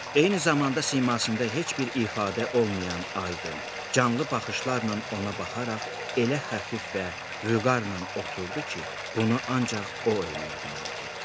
Eyni zamanda simasında heç bir ifadə olmayan aydın, canlı baxışlarla ona baxaraq elə xəfif və vüqarla oturdu ki, bunu ancaq o eləyə bilərdi.